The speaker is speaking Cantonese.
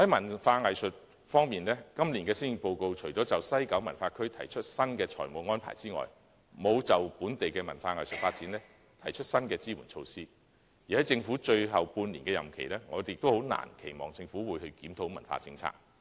在文化藝術方面，今年的施政報告除了就西九文化區提出新的財務安排外，並沒有就本地文化藝術發展提出新的支援措施，而在政府最後半年的任期，我們亦難以期望政府會檢討文化政策。